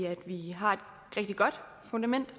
at vi har et rigtig godt fundament